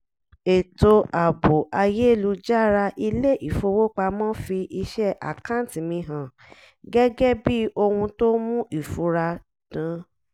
ètò ààbò ayélújára ilé-ifowópamọ́ fi iṣẹ́ àkáǹtì mi hàn gẹ́gẹ́ bí ohun tó mu ìfura dan